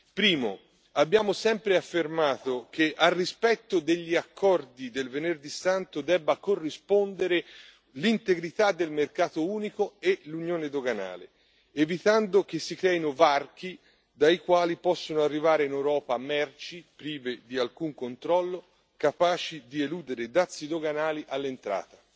Primo abbiamo sempre affermato che al rispetto degli accordi del Venerdì Santo debba corrispondere l'integrità del mercato unico e l'Unione doganale, evitando che si creino varchi, dai quali possano arrivare in Europa merci prive di alcun controllo, capaci di eludere i dazi doganali all'entrata